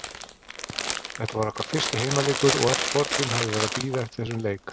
Þetta var okkar fyrsti heimaleikur og öll borgin hafði verið að bíða eftir þessum leik.